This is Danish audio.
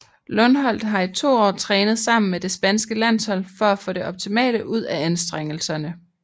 Lundholdt har i to år trænet sammen med det spanske landshold for at få det optimale ud af anstrengelserne